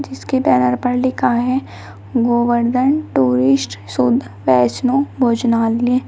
जिसकी बैनर पर लिखा है गोवर्धन टूरिस्ट शुद्ध वैष्णो भोजनालय।